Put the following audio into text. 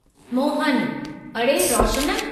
मोहनः अड़े, रोशन !